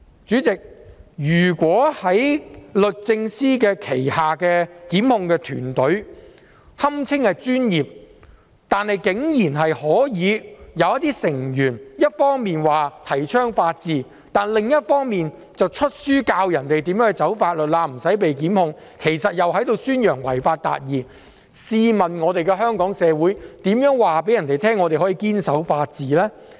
主席，如果在律政司轄下的檢控團隊，即堪稱專業的團隊中，竟然有成員一方面提倡法治，另一方面卻出版書籍教人如何"走法律罅"而不被檢控，其實在宣揚違法達義，試問香港社會如何告訴他人我們可以堅守法治呢？